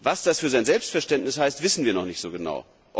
Union. Was das für sein Selbstverständnis heißt, wissen wir noch nicht